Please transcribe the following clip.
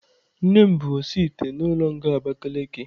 Nnem bu osi ite n'ulo nga Abakiliki